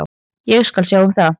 Ég skal sjá um það.